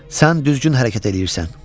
Sən düzgün hərəkət eləyirsən.